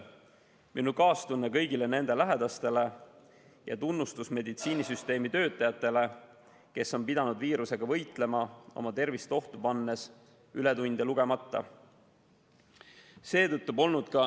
Minu kaastunne kõigile nende lähedastele ja tunnustus meditsiinisüsteemi töötajatele, kes on pidanud viirusega võitlema oma tervist ohtu pannes ja ületunde lugemata.